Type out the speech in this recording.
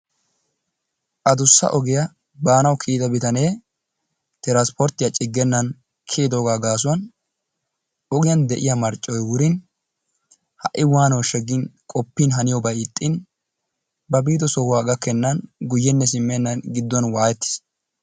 Addussa ogiya baanawu kiyyida bitane trspporttiyaa ciggenan kiyiddoogaa gaasuwan ogiyan de'iya marccoy wurin ha'i waanooshsha gin qoppiin haniyobay ixxin ba biiddo sohuwa gakkenaan guyenne simmenaan gidduwan waayettiis.